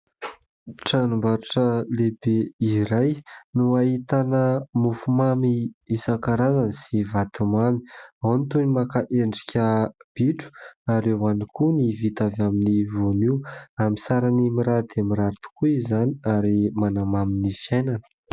Tranom-baritra lehibe iray no hahitana mofo mamy isankarazany sy vatomamy, ao ny toy ny maka hendrika bitro ary eo ihany koa ny vita avy amin'ny voanio amin'ny sarany mirary dia mirary tokoa izany ary manamamy ny fiainana.